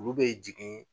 Olu bɛ jigin